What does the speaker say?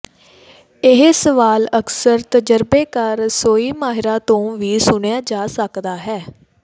ਇਹ ਸਵਾਲ ਅਕਸਰ ਤਜਰਬੇਕਾਰ ਰਸੋਈ ਮਾਹਿਰਾਂ ਤੋਂ ਵੀ ਸੁਣਿਆ ਜਾ ਸਕਦਾ ਹੈ